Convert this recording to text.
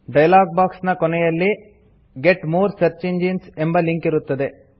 dialog box ನ ಕೊನೆಯಲ್ಲಿ get more search engines ಎಂಬುವ ಲಿಂಕ್ ಇರುತ್ತದೆ